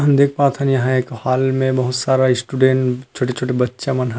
हम देख पात थन एह एक हॉल में बहुत सारा स्टूडेंट छोटे छोटे बच्चा मन हा--